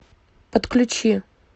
подключи